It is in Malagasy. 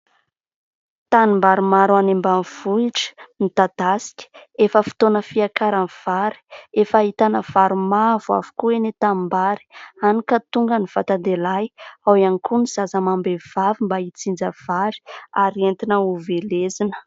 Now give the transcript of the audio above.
Tanimbary maro any ambanivohitra, midadasika, efa fotoana fiakaran'ny vary, efa ahitana vary mavo avokoa eny an-tanimbary hany ka tonga ny vatan-dehilahy, ao ihany koa ny zaza amam-behivavy mba hijinja vary ary entina ho velesina.